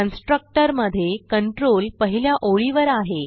constructor मधे control पहिल्या ओळीवर आहे